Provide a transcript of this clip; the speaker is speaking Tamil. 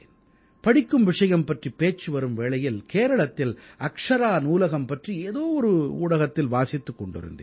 படிக்கும் விஷயம் பற்றிப் பேச்சு வரும் வேளையில் கேரளத்தில் அக்ஷரா நூலகம் பற்றி ஏதோ ஒரு ஊடகத்தில் வாசித்துக் கொண்டிருந்தேன்